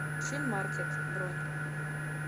шинмаркет бронь